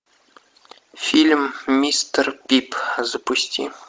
фильм мистер пип запусти